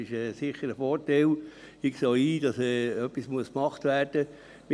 Ich sehe auch ein, dass etwas gemacht werden muss.